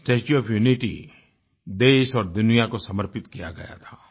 statue of Unity देश और दुनिया को समर्पित किया गया था